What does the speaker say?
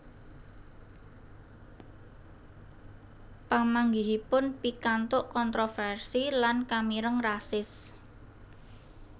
Pamanggihipun pikantuk kontroversi lan kamireng rasis